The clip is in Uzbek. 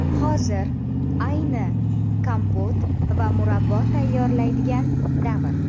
Hozir ayni kompot va murabbo tayyorlaydigan davr.